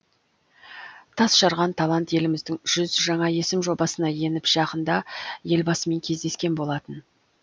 тасжарған талант еліміздің жүз жаңа есім жобасына еніп жақында елбасымен кездескен болатын